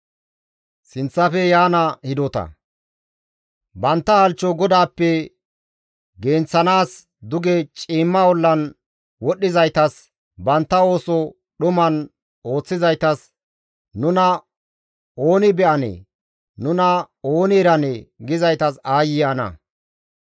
Bantta halchcho GODAAPPE genththanaas duge ciimma ollan wodhdhizaytas bantta ooso dhuman ooththizaytas «Nuna ooni be7anee? Nuna ooni eranee?» gizaytas aayye ana!